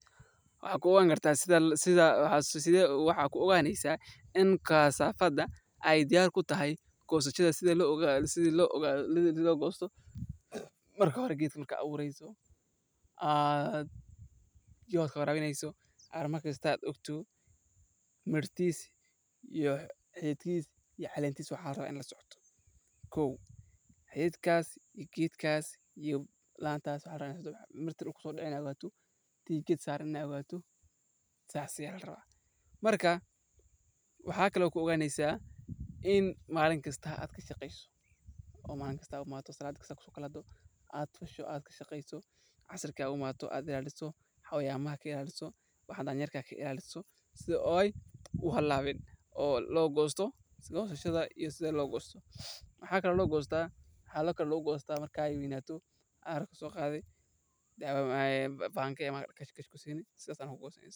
Sideed ku ogaanaysaa in kasaafada ay diyaar u tahay goosashada iyo sida loo goosto waxaad u baahan tahay inaad fiiriso calaamado kala duwan oo ku saabsan midabka, qaabka, iyo dareerka mirooda, sida in midabkeedu uu noqdo mid casuus ah oo qurux badan oo aan cirdhow iyo cagaar ahaan ku jirin, in qaabkeedu uu noqdo isku mid oo aan dhinac walba ka duwaneyn, in uu leeyahay dareero jilicsan oo markaad gacanta ku dhufato uu u jawaabo si degdeg ah, in uu uu leeyahay ur dhaw oo macaan markaad sanqaraha ka qaadato, in aanu caleemo xooggan ku hayn geedka, in uu yaraan qaarkood ka dhaco geedka si degdeg ah, iyo in uu jiro xilli sax ah oo goosashada loo sameeyay.